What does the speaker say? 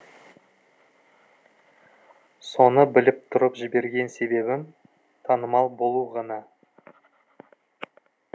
соны біліп тұрып жіберген себебім танымал болу ғана